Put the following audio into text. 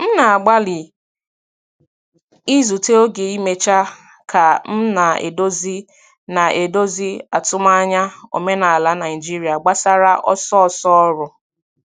M na-agbalị izute oge imecha ka m na-edozi na-edozi atụmanya omenala Naijiria gbasara ọsọ ọsọ ọrụ.